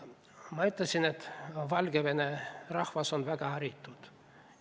Ma ütlesin, et Valgevene rahvas on väga haritud.